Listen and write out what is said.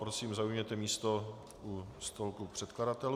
Prosím, zaujměte místo u stolku předkladatelů.